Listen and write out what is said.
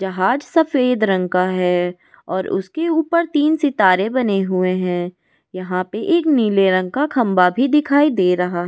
जहाज सफेद रंग का है और उसके ऊपर तीन सितारे बने हुए हैं यहां पर एक नीले रंग का खंबा भी दिखाई दे रहा ।